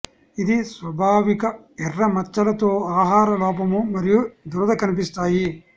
ఇది స్వాభావిక ఎర్ర మచ్చలు తో ఆహార లోపము మరియు దురద కనిపిస్తాయి